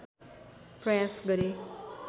प्रयास गरे